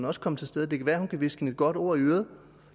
også kommet til stede det kan være hun kan hviske hende et godt ord i øret